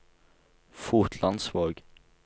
Fotlandsvåg